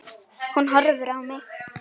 Hún horfir á mig.